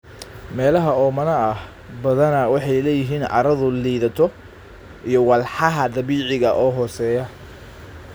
Meelaha oomanaha ah badanaa waxay leeyihiin carradu liidato iyo walxaha dabiiciga ah oo hooseeya.